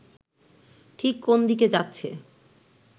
ঠিক কোন দিকে যাচ্ছে